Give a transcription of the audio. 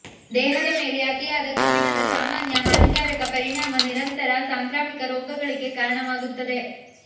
ದೇಹದ ಮೇಲೆ ಅತಿಯಾದ ಕಬ್ಬಿಣದ ಸಾಮಾನ್ಯ ಹಾನಿಕಾರಕ ಪರಿಣಾಮ ನಿರಂತರ ಸಾಂಕ್ರಾಮಿಕ ರೋಗಗಳಿಗೆ ಕಾರಣವಾಗುತ್ತದೆ